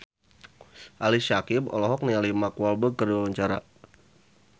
Ali Syakieb olohok ningali Mark Walberg keur diwawancara